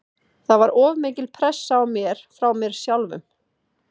Það var of mikil pressa á mér frá mér sjálfum.